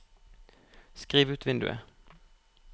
skriv ut vinduet